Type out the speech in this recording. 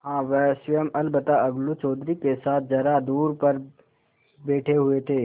हाँ वह स्वयं अलबत्ता अलगू चौधरी के साथ जरा दूर पर बैठे हुए थे